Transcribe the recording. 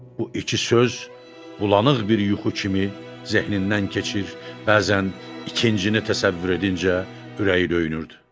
Bu iki söz bulanıq bir yuxu kimi zehnindən keçir, bəzən ikincini təsəvvür edincə ürəyi döyünürdü.